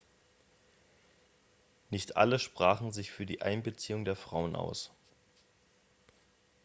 nicht alle sprachen sich für die einbeziehung der frauen aus